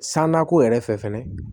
San nakɔ yɛrɛ fɛ fɛnɛ